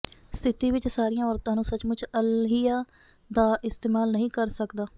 ਸਥਿਤੀ ਵਿੱਚ ਸਾਰੀਆਂ ਔਰਤਾਂ ਨੂੰ ਸਚਮੁੱਚ ਅੱਲਹੀਆ ਦਾ ਇਸਤੇਮਾਲ ਨਹੀਂ ਕਰ ਸਕਦਾ